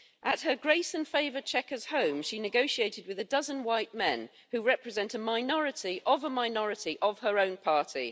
At her grace and favour' Chequers home she negotiated with a dozen white men who represent a minority of a minority of her own party.